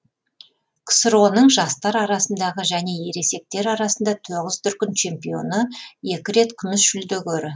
ксро ның жастар арасындағы және ересектер арасында тоғыз дүркін чемпионы екі рет күміс жүлдегері